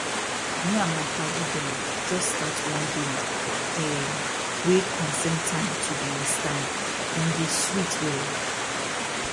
me and my padi dem jus start one game erm wey concern time to dey restand e dey sweet wella